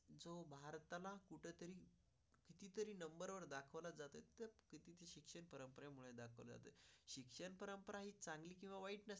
चालेल किंवा वाईट असेल?